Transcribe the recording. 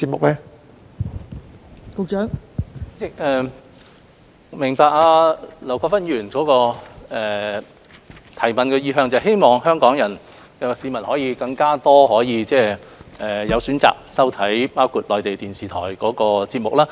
代理主席，我明白劉國勳議員提出補充質詢的意向，是希望香港市民可以有更多選擇，包括收看內地電視台的節目。